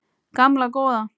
Gamla góða